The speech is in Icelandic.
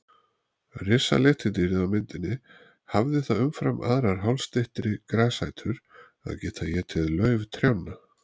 Risaletidýrið á myndinni hafði það umfram aðrar hálsstyttri grasætur að geta étið lauf trjánna.